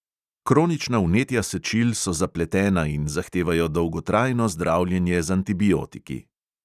Kronična vnetja sečil so zapletena in zahtevajo dolgotrajno zdravljenje z antibiotiki.